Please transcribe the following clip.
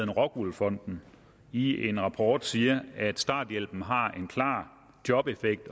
rockwool fonden i en rapport siger at starthjælpen har en klar jobeffekt